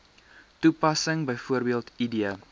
toepassing bv id